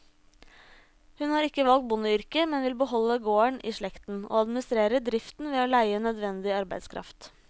Hun har ikke valgt bondeyrket, men vil beholde gården i slekten, og administrerer driften ved å leie nødvendig arbeidskraft.